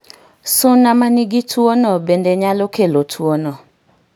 Suna ma nigi tuwono no bende nyalo kelo tuwono